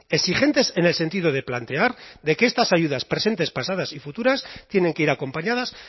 exigentes en el sentido de plantear de que estas ayudas presentes pasadas y futuras tienen que ir acompañadas